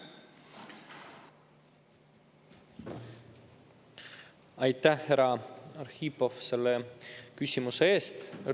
Aitäh, härra Arhipov, selle küsimuse eest!